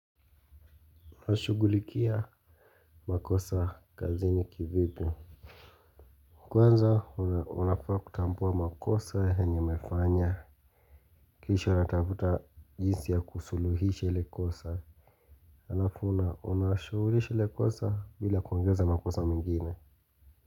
Unashugulikia makosa kazini kivipi. Kwanza unafaa kutambua makosa enye imefanya. Kisha unatafuta jinsi ya kusuluhisha ile kosa alafu unashughulisha ile kosa bila kuongeza makosa mengine.